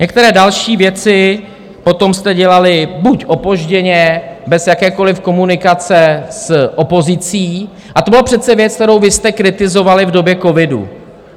Některé další věci potom jste dělali buď opožděně bez jakékoliv komunikace s opozicí, a to byla přece věc, kterou vy jste kritizovali v době covidu.